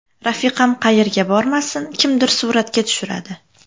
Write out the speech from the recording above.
Rafiqam qayerga bormasin, kimdir suratga tushiradi.